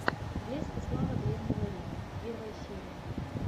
блеск и слава древнего рима первая серия